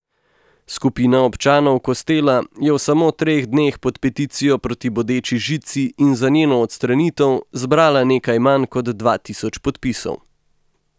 Skupina občanov Kostela je v samo treh dneh pod peticijo proti bodeči žici in za njeno odstranitev zbrala nekaj manj kot dva tisoč podpisov.